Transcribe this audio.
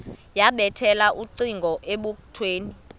yabethela ucingo ebukhweni